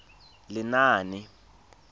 lenaane